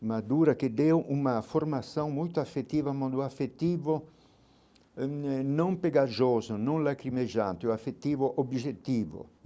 Mas dura que deu uma formação muito afetiva, um amor afetivo eh não pegajoso, não lacrimejado, um afetivo objetivo.